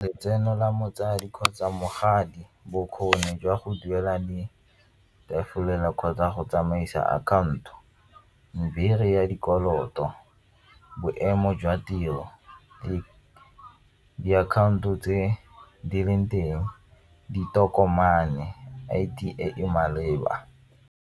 Letseno la motsadi kgotsa bokgoni jwa go duela di gafolela kgotsa go tsamaisa account-o, modiri ya dikoloto boemo jwa tiro, diakhaonto tse di leng teng, di tokomane I_T e e maleba.